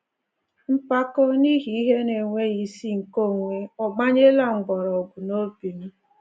Mpako n’ihi ihe na-enweghi isi nke onwe ò gbanyela mkpọrọgwụ n’obi m?